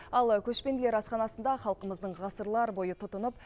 ал көшпенділер асханасында халқымыздың ғасырлар бойы тұтынып